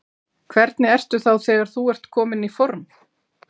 Hvernig ertu þá þegar þú ert kominn í form?